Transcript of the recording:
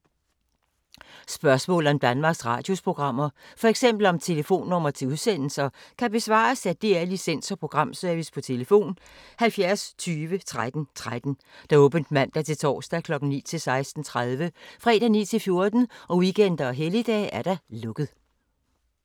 Spørgsmål om Danmarks Radios programmer, f.eks. om telefonnumre til udsendelser, kan besvares af DR Licens- og Programservice: tlf. 70 20 13 13, åbent mandag-torsdag 9.00-16.30, fredag 9.00-14.00, weekender og helligdage: lukket.